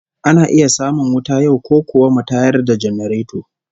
Ana iya samun wuta yau, ko kuwa mu tayar da janareto?